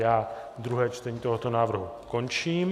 Já druhé čtení tohoto návrhu končím.